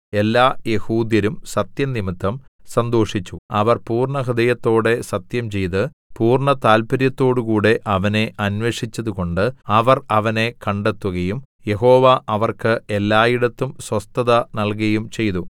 എല്ലായെഹൂദ്യരും സത്യംനിമിത്തം സന്തോഷിച്ചു അവർ പൂർണ്ണഹൃദയത്തോടെ സത്യംചെയ്ത് പൂർണ്ണതാല്പര്യത്തോടുകൂടെ അവനെ അന്വേഷിച്ചതുകൊണ്ട് അവർ അവനെ കണ്ടെത്തുകയും യഹോവ അവർക്ക് എല്ലായിടത്തും സ്വസ്ഥത നല്കുകയും ചെയ്തു